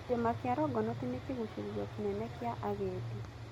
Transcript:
Kĩrĩma kĩa Longonot nĩ kĩgucĩrĩrio kĩnene kĩa agendi..